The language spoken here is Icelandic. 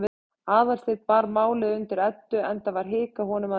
Aðalsteinn bar málið undir Eddu, enda var hik á honum að venju.